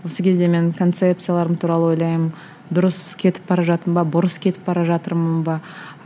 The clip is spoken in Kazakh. осы кезде мен концепцияларым туралы ойлаймын дұрыс кетіп бара жатырмын ба бұрыс кетіп бара жатырмын ба